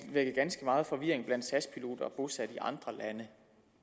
vække ganske meget forvirring blandt sas piloter bosat i andre lande